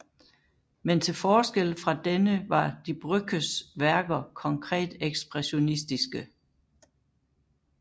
Men til forskel fra denne var Die Brückes værker konkret ekspressionistiske